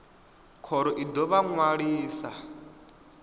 khoro i ḓo vha ṅwalisa